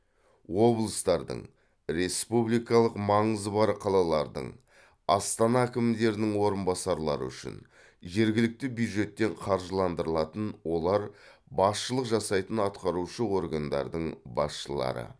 облыстардың республикалық маңызы бар қалалардың астана әкімдерінің орынбасарлары үшін жергілікті бюджеттен қаржыландырылатын олар басшылық жасайтын атқарушы органдардың басшылары